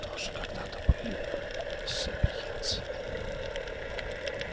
тоже когда-то были сапиенсами